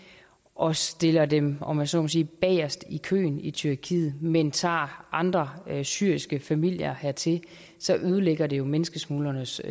og stiller dem om jeg så må sige bagest i køen i tyrkiet men tager andre syriske familier hertil så ødelægger det menneskesmuglernes